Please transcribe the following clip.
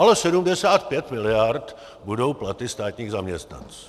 Ale 75 miliard budou platy státních zaměstnanců.